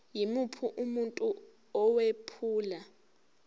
yimuphi umuntu owephula